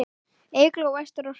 Eygló, Ester og Hrefna.